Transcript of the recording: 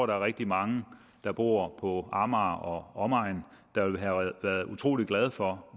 der er rigtig mange der bor på amager og omegn der ville have været utrolig glade for